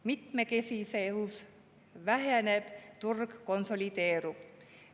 Mitmekesisus väheneb, turg konsolideerub.